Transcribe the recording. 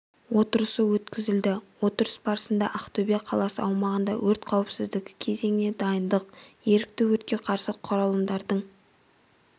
отырысы өткізілді отырыс барысында ақтөбе қаласы аумағында өрт қауіпсіздігі кезеңіне дайындық ерікті өртке қарсы құралымдардың